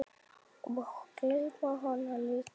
Og geyma hana líka.